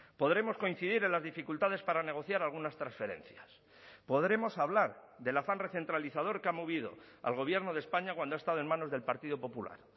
podremos coincidir en las dificultades para negociar algunas transferencias podremos hablar del afán recentralizador que ha movido al gobierno de españa cuando ha estado en manos del partido popular